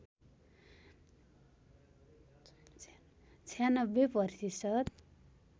९६ प्रतिशत